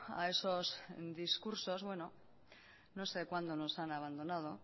a esos discursos no sé cuando nos han abandonado